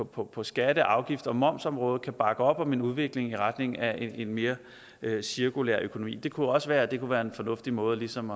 på på skatte afgifts og momsområdet kan bakke op om en udvikling i retning af en mere cirkulær økonomi det kunne også være at det kunne være en fornuftig måde ligesom